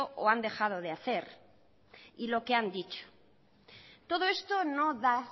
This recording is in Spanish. o han dejado de hacer y lo que han dicho todo esto no da